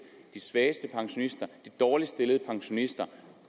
de svageste pensionister de dårligst stillede pensionister